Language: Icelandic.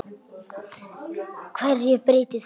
HVERJU BREYTIR ÞAÐ?